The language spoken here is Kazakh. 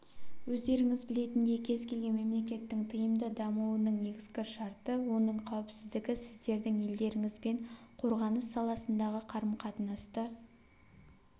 өздеріңіз білетіндей кез келген мемлекеттің тиімді дамуының негізгі шарты оның қауіпсіздігі сіздердің елдеріңізбен қорғаныс саласындағы қарым-қатынасты